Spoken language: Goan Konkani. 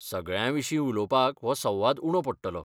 सगळ्यां विशीं उलोवपाक हो संवाद उणो पडटलो.